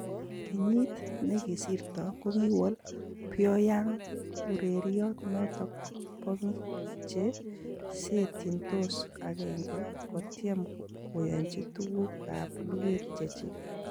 Kenyit negisirto kogiwol Pyongyang ureryot noton bo biik che seetyiintoos akeenke kotyem koyochi tuguk ab luget chechik.